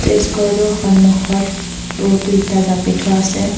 ঘৰটোৰ সন্মুখত বহুতো ইটা জাপি থোৱা আছে।